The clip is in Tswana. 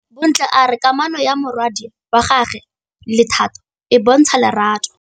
Bontle a re kamanô ya morwadi wa gagwe le Thato e bontsha lerato.